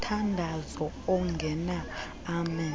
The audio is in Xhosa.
banomthandazo ongena amen